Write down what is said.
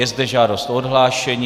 Je zde žádost o odhlášení.